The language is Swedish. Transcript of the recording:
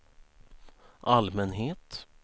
allmänhet